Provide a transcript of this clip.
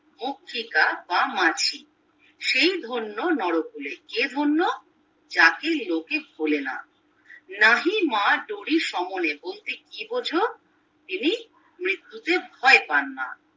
বা মাছি সেই ধন্য নরকূলে কে ধন্য যাকে লোকে ভোলে না নাহিমা দরে সমনে বলতে কী বোঝো যিনি মৃত্যুকে ভয় পান না